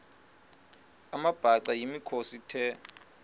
amabhaca yimikhosi the